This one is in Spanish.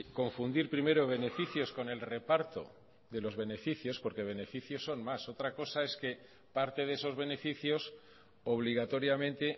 confundir primero beneficios con el reparto de los beneficios porque beneficios son más otra cosa es que parte de esos beneficios obligatoriamente